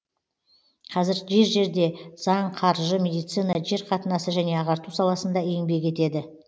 қазір жер жерде заң қаржы медицина жер қатынасы және ағарту саласында еңбек етеді